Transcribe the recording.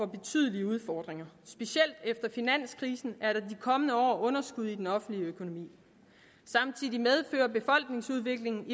betydelige udfordringer specielt efter finanskrisen er der de kommende år underskud i den offentlige økonomi samtidig medfører befolkningsudviklingen